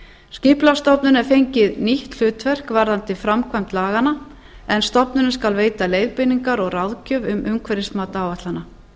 er fengið nýtt hlutverk varðandi framkvæmd laganna en stofnunin skal veita leiðbeiningar og ráðgjöf um umhverfismat áætlana